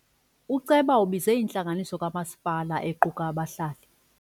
Uceba ubize intlanganiso kamasipala equka abahlali.